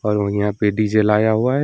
और यहां पे डीजे लाया हुआ है।